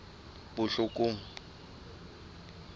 botlhokong